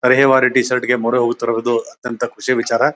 ಹಳೆ warranty T-shirt ಗೆ ಮೊರೆಹೋಗುತ್ತಿರುವುದು ಅತ್ಯಂತ ಖುಷಿ ವಿಚಾರ.